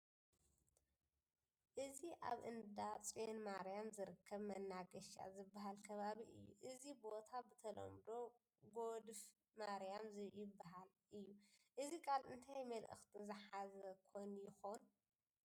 እዚ ኣብ እንዳ ፅዮን ማርያም ዝርከብ መናገሻ ዝበሃለ ከባቢ እዩ፡፡ እዚ ቦታ ብተለምዶ ጐዲፍ ማርያም ይበሃል እዩ፡፡ እዚ ቃል እንታይ መልእኽቲ ዝሓዘ ኾን ይኸውን?